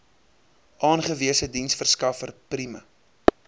aangewese diensverskaffer prime